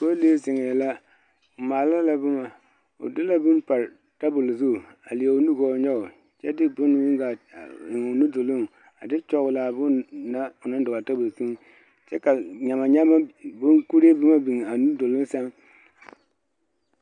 Pɔllee zeŋɛɛ la o maala la boma o de la bone pare tabol zu a leɛ o nu gɔɔ nyɔge kyɛ de bone meŋ a eŋ o nuduloŋ a de tɔgle a bone na o naŋ dɔgle a tabol zuŋ kyɛ ka nyama nyama bonkuree boma biŋ a nuduloŋ seŋ.